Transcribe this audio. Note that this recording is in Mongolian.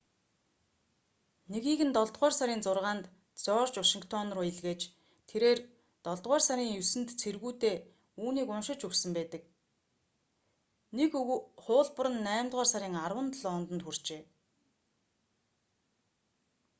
нэгийг нь долдугаар сарын 6-нд жорж вашингтон руу илгээж тэрээр долдугаар сарын 9-нд цэргүүдээ үүнийг уншиж өгсөн байдаг нэг хуулбар нь наймдугаар сарын 10-нд лондонд хүрчээ